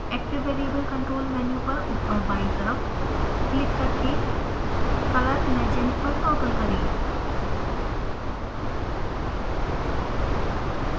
active variable control menu पर ऊपर बायीं तरफ क्लिक करके color legend पर टॉगल करें